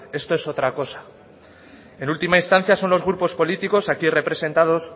esto es otra cosa en última instancia son los grupos políticos aquí representados